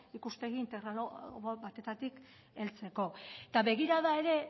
ikuspegi integral batetatik heltzeko eta begirada ere